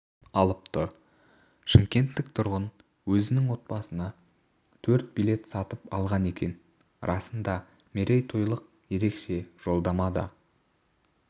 алыпты шымкенттік тұрғын өзінің отбасына төрт билет сатып алған екен арасында мерейтойлық ерекше жолдама да